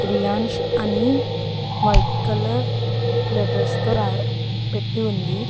రియాంష్ అని white colour letters తో పెట్టి ఉంది.